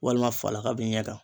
Walima falaka b'i ɲɛ kan